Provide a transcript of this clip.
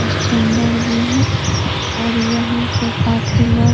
इसटेंड़र भी है और यहां पे काफी लोग --